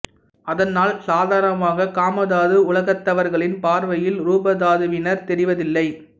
அதனால் சாதரணமாக காமதாது உலகத்தவர்களின் பார்வையில் ரூபதாதுவினர் தெரிவது இல்லை